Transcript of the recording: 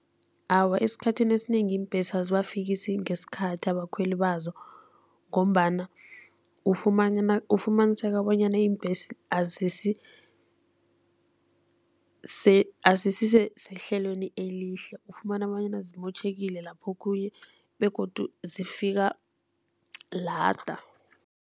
Awa, esikhathini esinengi iimbhesi azibafikisi ngesikhathi abakhweli bazo ngombana ufumaniseka bonyana iimbhesi azisisehlelweni elihle, ufumana bonyana zimotjhekile lapho okhunye begodu zifika lada.